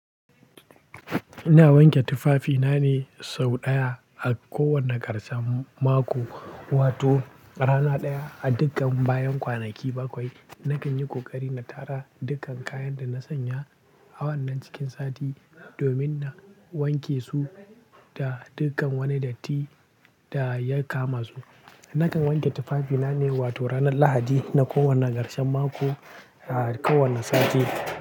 Ina wanke tufafina ne sau ɗaya a kowane ƙarshen mako, wato rana ɗaya a dukkan bayan kwanaki bakwai. Nakan yi ƙoƙari na tara dukkan kayan da na sanya a wannan cikin sati domin na wanke su da dukkan wani datti da ya kama su. Nakan wanke tufafina ne, wato ranar Lahadi na kowane ƙarshen mako a kowane sati.